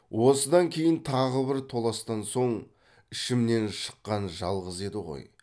осыдан кейін тағы бір толастан соң ішімнен шыққан жалғыз еді ғой